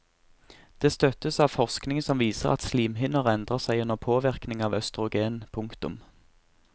Det støttes av forskning som viser at slimhinner endrer seg under påvirkning av østrogen. punktum